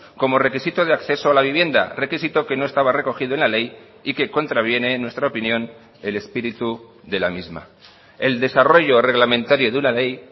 como requisito de acceso a la vivienda requisito que no estaba recogido en la ley y que contraviene en nuestra opinión el espíritu de la misma el desarrollo reglamentario de una ley